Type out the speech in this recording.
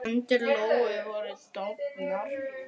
Hendur Lóu voru dofnar.